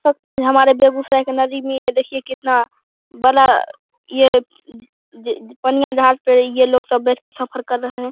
हमारे बेगुसराय के नदी में ये देखिये कितना बड़ा ये पनिया जहाज पे ये लोग सब बैठ के सफर कर रहे है।